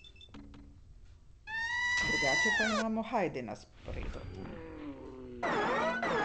Drugače pa imamo Hajdi na sporedu.